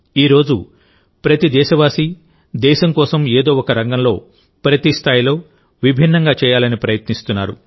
ఈ రోజు ప్రతి దేశవాసీ దేశం కోసం ఏదో ఒక రంగంలోప్రతి స్థాయిలో విభిన్నంగా చేయాలని ప్రయత్నిస్తున్నాడు